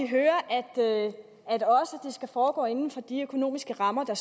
hører at det skal foregå inden for de økonomiske rammer der